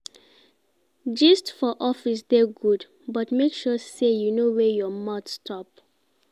Gist for office dey good, but make sure sey you know where your mouth stop.